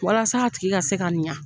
Walasa a tigi ka se ka ɲa.